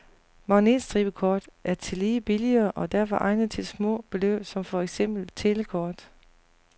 Magnetstribekort er tillige billigere og derfor egnet til små beløb som for eksempel telekort.